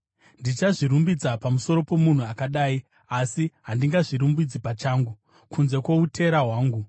Ndichazvirumbidza pamusoro pomunhu akadai, asi handingazvirumbidzi pachangu, kunze kwoutera hwangu.